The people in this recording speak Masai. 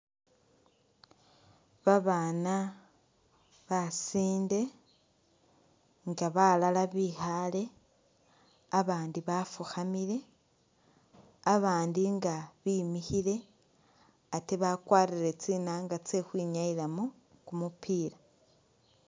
Babana basinde nga balala bikhale abandi bafukhamile , abandi nga bimikhile ate bakwarire tsinanga tse khwinyayilamo kumupila